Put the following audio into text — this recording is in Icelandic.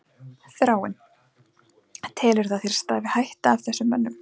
Þráinn: Telurðu að þér stafi hætta af þessum mönnum?